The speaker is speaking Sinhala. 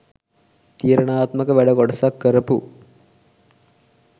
තීරණාත්මක වැඩ කොටසක් කරපු